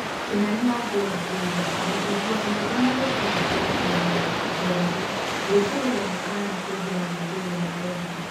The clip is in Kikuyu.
Kimani Wangũra kuuga, mũtungi wa nyĩmbo na rĩtwa rĩake rĩa mwanya - Njorogi gwĩkĩrĩrwo mũkana kũingĩra ngũngüiro ya Rwanda.